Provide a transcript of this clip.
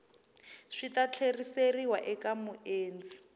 swi ta tlheriseriwa eka muendli